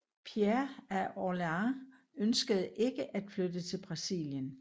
Pierre af Orléans ønskede ikke at flytte til Brasilien